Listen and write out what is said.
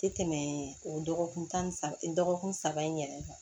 Tɛ tɛmɛ o dɔgɔkun tan ni saba dɔgɔkun saba in yɛrɛ kan